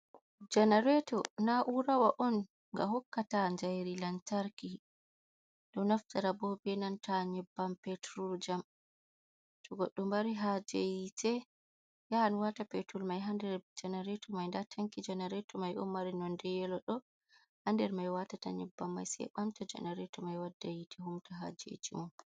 Janareto na'urawa on ga hokkata jairi lantarki ɗo naftira bo benanta nyebbam peturul jam to goɗɗo maari haje hite yahan wata petur mai haa nder janareto mai nda tankiru mai ɗo mari nonde yelo ha nder mai ɓe watta sau ɓamta janarato mai wadda yite humta hajeji mun.